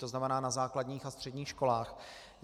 To znamená na základních a středních školách.